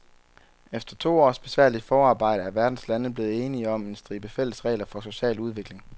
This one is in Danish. Efter to års besværligt forarbejde er verdens lande blevet enige om en stribe fælles regler for social udvikling.